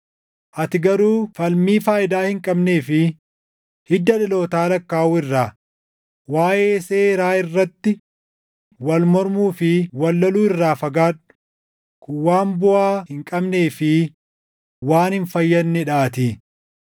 Ati garuu falmii faayidaa hin qabnee fi hidda dhalootaa lakkaaʼuu irraa, waaʼee seeraa irratti wal mormuu fi wal loluu irraa fagaadhu; kun waan buʼaa hin qabnee fi waan hin fayyadnee dhaatii.